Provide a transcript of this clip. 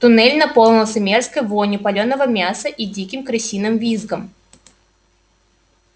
туннель наполнился мерзкой вонью палёного мяса и диким крысиным визгом